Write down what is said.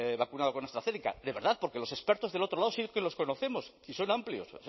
vacunado con astrazeneca de verdad porque los expertos del otro lado sí que los conocemos y son amplios